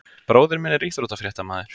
Bróðir minn er íþróttafréttamaður.